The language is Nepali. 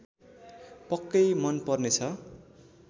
पक्कै मन पर्नेछ